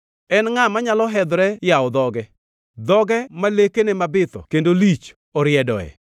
En ngʼa manyalo hedhore yawo dhoge, dhoge ma lekene mabitho kendo lich oridoe?